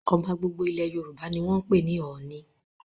Ọba gbogbo ilẹ̀ Yorùbá ni wọ́n ń pè ní 'Ọọ̀ni'.